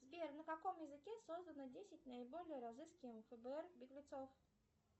сбер на каком языке создано десять наиболее разыскиваемых фбр беглецов